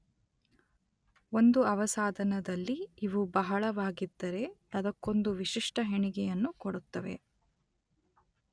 ಒಂದು ಅವಸಾಧನದಲ್ಲಿ ಇವು ಬಹಳವಾಗಿದ್ದರೆ ಅದಕ್ಕೊಂದು ವಿಶಿಷ್ಟ ಹೆಣಿಗೆಯನ್ನು ಕೊಡುತ್ತವೆ.